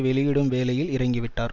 வெளியிடும் வேலையில் இறங்கிவிட்டார்